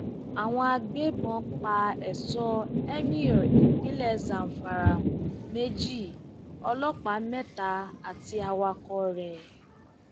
àwọn agbébọn pa èso emir ìpínlẹ zamfara méjì ọlọpàá mẹta àti awakọ rẹ